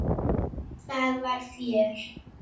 Það var fjör.